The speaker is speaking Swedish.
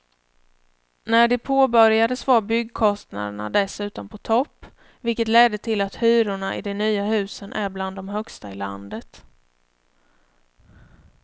När de påbörjades var byggkostnaderna dessutom på topp, vilket ledde till att hyrorna i de nya husen är bland de högsta i landet.